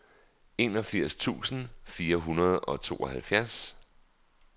enogfirs tusind fire hundrede og tooghalvfjerds